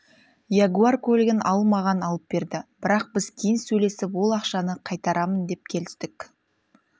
ягуар көлігін ал маған алып берді бірақ біз кейін сөйлесіп ол ақшаны қайтарамын деп келістік